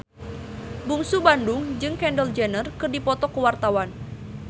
Bungsu Bandung jeung Kendall Jenner keur dipoto ku wartawan